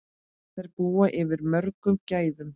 Þær búa yfir mörgum gæðum.